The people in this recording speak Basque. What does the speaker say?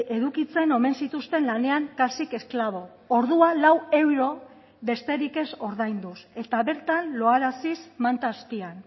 edukitzen omen zituzten lanean kasik esklabo ordua lau euro besterik ez ordainduz eta bertan loaraziz manta azpian